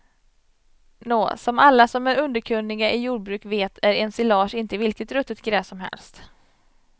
Nå, som alla som är underkunniga i jordbruk vet är ensilage inte vilket ruttet gräs som helst.